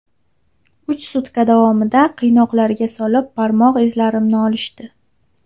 Uch sutka davomida qiynoqlarga solib, barmoq izlarimni olishdi.